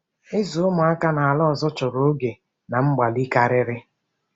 Ịzụ ụmụaka n’ala ọzọ chọrọ oge na mgbalị karịrị.